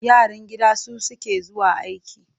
Yaran gida su suke zuwa aike.